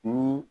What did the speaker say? Ni